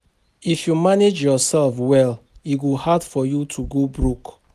If you manage yoursef well, e go hard for you to go broke.